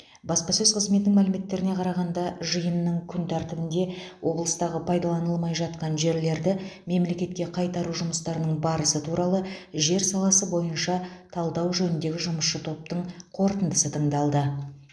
баспасөз қызметінің мәліметтеріне қарағанда жиынның күн тәртібінде облыстағы пайдалданылмай жатқан жерлерді мемлекетке қайтару жұмыстарының барысы туралы жер саласы бойынша талдау жөніндегі жұмысшы топтың қорытындысы тыңдалды